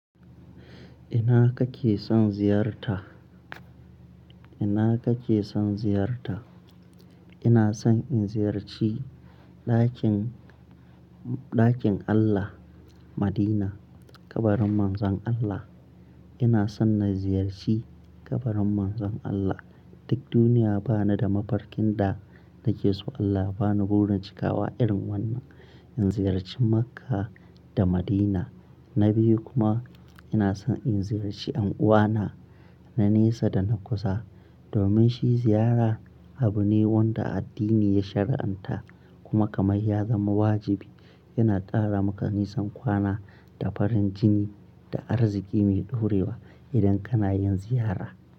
Ina kake son ziyarta? Ina kake son ziyarta? Ina son in ziyarci ɗakin, ɗakin Allah Madina, kabarin Manzon Allah. Ina son na ziyarci kabarin Manzon Allah. Duk duniya ba ni da mafarkin da nake so Allah ya bani burin cikawa irin wannan. In ziyarci Makka da Madina. Na biyu kuma ina son in ziyarci yan uwana na nesa da na kusa. Domin shi ziyara abu ne wanda addini ya shari'anta kuma kamar ya zama wajibi. Yana qara maka nisan kwana da farin jini da arziki mai ɗorewa idan kana yin ziyara.